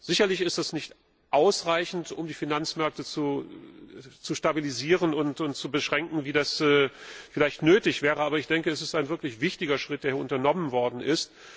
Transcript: Sicherlich ist es nicht ausreichend, um die Finanzmärkte zu stabilisieren und zu beschränken, wie das vielleicht nötig wäre, aber ich denke, es ist ein wirklich wichtiger Schritt, der hier unternommen worden ist.